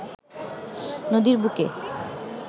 নদীর বুকে